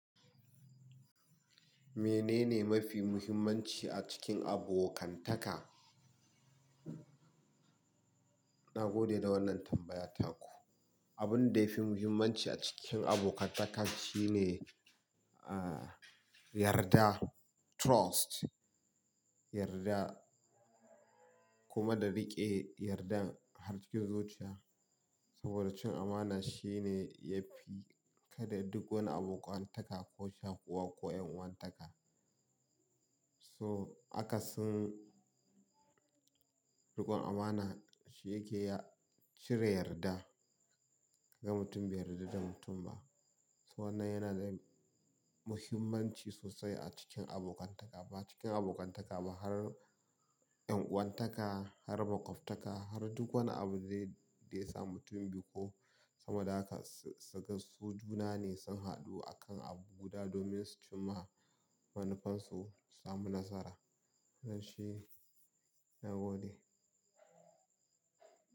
Menene mafi muhimmanci a cikin abokantaka? Na gode da wannan tambaya taku. Abun da yafi muhimmanci a cikin abokantaka shine, ah, yarda, trust, yarda kuma da riƙe yardan har cikin zuciya. Saboda cin amana shine yafi kada duk wani abokantaka ko shakuwa ko 'yan uwantaka. So akasin riƙon amana shi yake cire yarda, kaga mutum bai yarda da mutum ba. So wannan yana da muhimmanci sosai a cikin abokantaka. Ba cikin abokantaka ba har 'yan uwantaka har makwaftaka har duk wani abu zai-- da ya samu mutum biyu ko sama da haka su, su, juna ne sun haɗu a kan abu guda domin su ci ma manufarsu su sami nasara. Wannan shi, na gode.